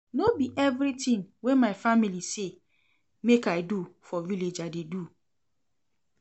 No be everytin wey my family say make I do for village I dey do.